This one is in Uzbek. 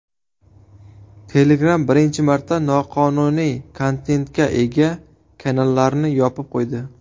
Telegram birinchi marta noqonuniy kontentga ega kanallarni yopib qo‘ydi.